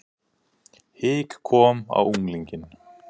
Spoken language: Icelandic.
Hik kom á unglinginn.